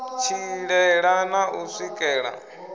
tshilela na u u swikela